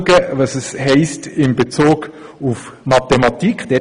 Oder schauen wir, was es in Bezug auf das Fach Mathematik hiesse.